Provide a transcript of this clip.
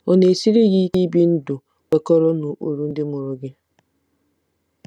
Ọ̀ na-esiri gị ike ibi ndụ kwekọrọ n'ụkpụrụ ndị mụrụ gị?